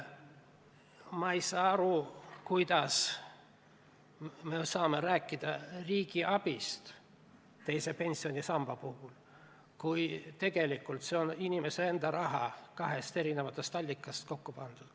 Ma ei saa aru, kuidas me saame rääkida riigi abist teise pensionisamba puhul, kui tegelikult see on inimese enda raha, lihtsalt kahest eri allikast kokku pandud.